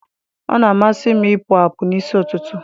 Ọ na-amasị m ịpụ apụ n'isi ụtụtụ.